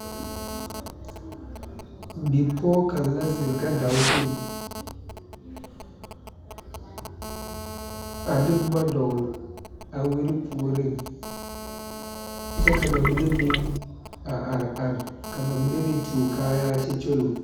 Bipɔge kaŋ la zeŋ gadao zuŋ,a de boma dogle a wiire puori kyɛ ka ba mine meŋ a are are ka ba mine meŋ tuo kaayaa kyɛ kyuloŋ.